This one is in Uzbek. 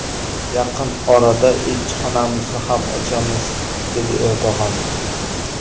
Yaqin orada elchixonamizni ham ochamiz”, dedi Erdo‘g‘on.